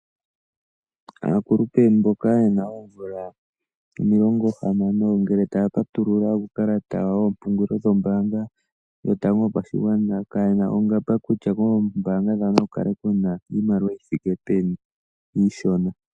Aakulupe mboka yena oomvula omilongo hamano ngele taya ka patulula uukalata wawo woompungulilo dhombaanga yotango yopashigwana, ka yena ongamba kutya koombaanga dhawo naku kale kuna iimaliwa yi thike peni, iishona.